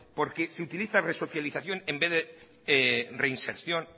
porque se utiliza resocialización en vez de reinserción